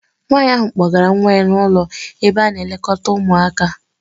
Nwaanyi ahụ kpọgara nwa ya n'ụlọ ebe a na-elekọta ụmụaka.